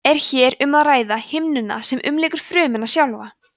er hér um að ræða himnuna sem umlykur frumuna sjálfa